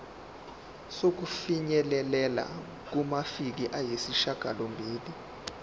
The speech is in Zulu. sokufinyelela kumaviki ayisishagalombili